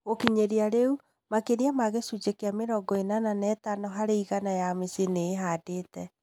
Gu͂kinyi͂ria ri͂u, maki͂ria ma gi͂cunji͂ ki͂a mi͂rongo i͂nana na i͂tano hari͂ igana, ya mi͂cii͂ ni͂ i͂handi͂te.